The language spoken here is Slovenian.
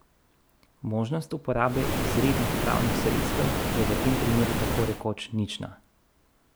Možnost uporabe izrednih pravnih sredstev je v tem primeru tako rekoč nična.